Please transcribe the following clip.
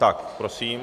Tak, prosím.